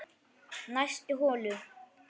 Næstu holu